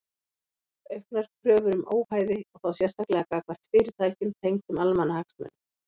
Auknar kröfur um óhæði og þá sérstaklega gagnvart fyrirtækjum tengdum almannahagsmunum.